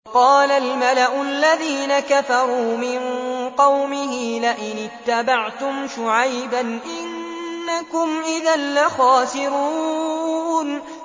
وَقَالَ الْمَلَأُ الَّذِينَ كَفَرُوا مِن قَوْمِهِ لَئِنِ اتَّبَعْتُمْ شُعَيْبًا إِنَّكُمْ إِذًا لَّخَاسِرُونَ